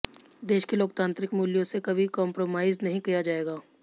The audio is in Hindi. देश के लोकतांत्रिक मूल्यों से कभी कॉम्प्रोमाइज नहीं किया जाएगा